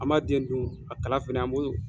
An b'a den dun a kala fɛnɛ an b'o